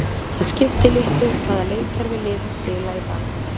Það skiptir litlu hvaða leikkerfi liðin spila í dag.